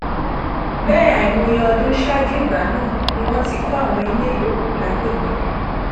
bẹẹ àìmọye ọdún ṣáájú ìgbà náà ni wọn ti kọ àwọn ilé yòókù lágbègbè ọhún